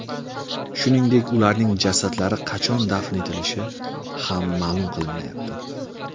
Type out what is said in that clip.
Shuningdek, ularning jasadlari qachon dafn etilishi ham ma’lum qilinmayapti.